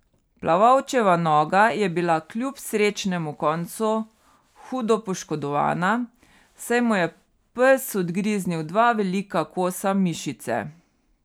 Plavalčeva noga je bila kljub srečnemu koncu hudo poškodovana, saj mu je pes odgriznil dva velika kosa mišice.